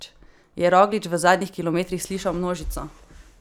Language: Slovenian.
Je Roglič v zadnjih kilometrih slišal množico?